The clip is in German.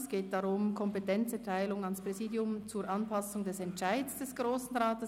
Es geht um die Kompetenzerteilung ans Präsidium zur Anpassung des Entscheids des Grossen Rats.